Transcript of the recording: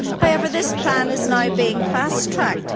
However, this plan is now being fast tracked.